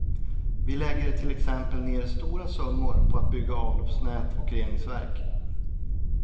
Vi lägger till exempel ner stora summor på att bygga avloppsnät och reningsverk.